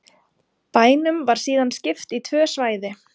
Bænum var síðan skipt í tvö svæði